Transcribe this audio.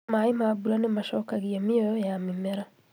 mai ma bura nimacokagia mioyo ya mimera